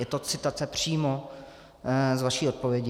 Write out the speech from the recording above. Je to citace přímo z vaší odpovědi.